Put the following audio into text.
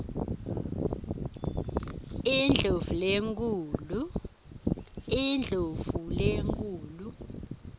indlovulenkhulu